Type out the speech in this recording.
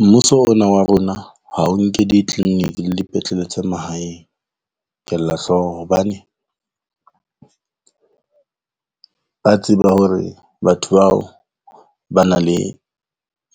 Mmuso ona wa rona ha o nke di-clinic-i le dipetlele tsa mahaeng kella hlooho hobane ba tseba hore batho bao ba na le